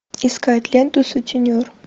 искать ленту сутенер